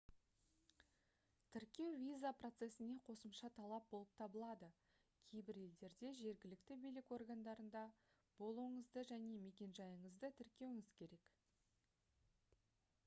тіркеу виза процесіне қосымша талап болып табылады кейбір елдерде жергілікті билік органдарында болуыңызды және мекенжайыңызды тіркеуіңіз керек